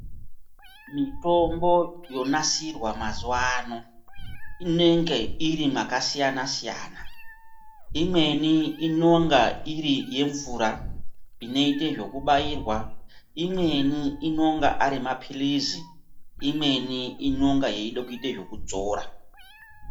Mutombo yoonasirwa mazuvano inenge iri makasiyana-siyana. Imweni inonga iri yemvura inoite zvekubairwa, imweni inonga ari maphilizi. Imweni inonga yeida kuite zvokudzora.